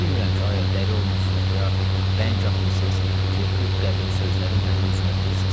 Bilmirəm ki, ayə dəli olmusuz, ya bəng atmısız ki, bu qəbil sözləri mənim üzümə deyirsiz.